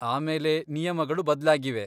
ಆಮೇಲೆ ನಿಯಮಗಳು ಬದ್ಲಾಗಿವೆ.